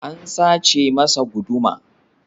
An sace masa guduma.